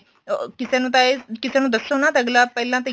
ਅਹ ਕਿਸੇ ਨੂੰ ਦੱਸੋ ਨਾ ਤਾਂ ਅੱਗਲਾ ਪਹਿਲਾਂ ਤੇ